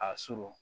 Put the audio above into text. A surun